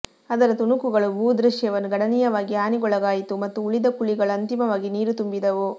ಅದರ ತುಣುಕುಗಳು ಭೂದೃಶ್ಯವನ್ನು ಗಣನೀಯವಾಗಿ ಹಾನಿಗೊಳಗಾಯಿತು ಮತ್ತು ಉಳಿದ ಕುಳಿಗಳು ಅಂತಿಮವಾಗಿ ನೀರು ತುಂಬಿದವು